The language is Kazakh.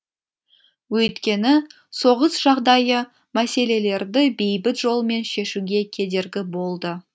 өйткені соғыс жағдайы мәселелерді бейбіт жолмен шешуге кедергі болды